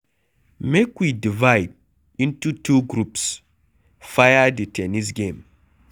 Make we divide into two groups fir the ten nis game.